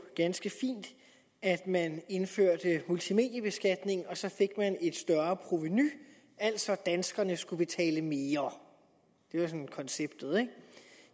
ganske fint at man indførte multimediebeskatning og så fik man et større provenu altså at danskerne skulle betale mere det er sådan konceptet